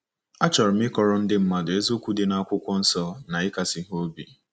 Achọrọ m ịkọrọ ndị mmadụ eziokwu dị n'akụkụ Akwụkwọ Nsọ na ịkasi ha obi.